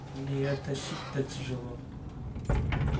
мне её тащить-то тяжело